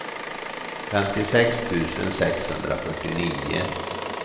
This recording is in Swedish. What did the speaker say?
femtiosex tusen sexhundrafyrtionio